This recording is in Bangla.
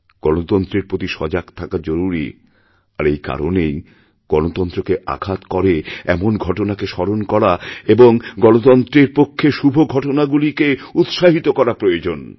গণতন্ত্রের প্রতি সজাগ থাকা জরুরীআর এই কারণেই গণতন্ত্রকে আঘাত করে এমন ঘটনাকে স্মরণ করা এবং গণতন্ত্রের পক্ষে শুভঘটনাগুলিকে উৎসাহিত করা প্রয়োজন